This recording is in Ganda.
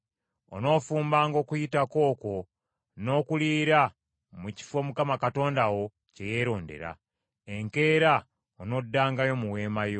Onoofumbanga okuyitako okwo n’okuliira mu kifo Mukama Katonda wo kye yeerondera. Enkeera onoddangayo mu weema yo.